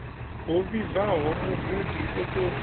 ho vhibvaho mugudi o tou